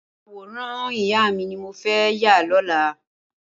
Awórán ìyá mi ni mó fẹ̀ yà lọlá